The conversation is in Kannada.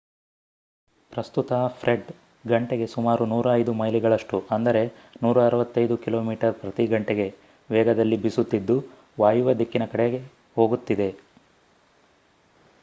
ಪ್ರಸ್ತುತ ಫ್ರೆಡ್ ಗಂಟೆಗೆ ಸುಮಾರು105 ಮೈಲಿಗಳಷ್ಟು 165 ಕಿಮಿ/ಗಂ ವೇಗದಲ್ಲಿ ಬೀಸುತ್ತಿದ್ದು ವಾಯುವ್ಯ ದಿಕ್ಕಿನ ಕಡೆಗೆ ಹೋಗುತ್ತಿದೆ